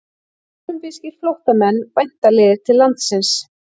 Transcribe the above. Kólumbískir flóttamenn væntanlegir til landsins